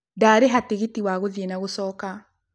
Ndarĩha tigiti wa gũthiĩ na gũcoka.